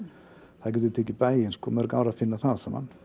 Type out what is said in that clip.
það getur tekið bæinn mörg ár að finna það allt saman